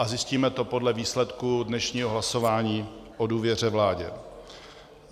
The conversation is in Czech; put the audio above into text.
A zjistíme to podle výsledku dnešního hlasování o důvěře vládě.